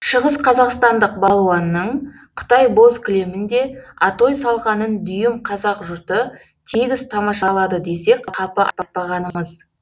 шығысқазақстандық балуанның қытай боз кілемінде атой салғанын дүйім қазақ жұрты тегіс тамашалады десек қапы айтпағанымыз